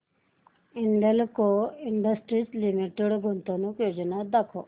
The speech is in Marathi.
हिंदाल्को इंडस्ट्रीज लिमिटेड गुंतवणूक योजना दाखव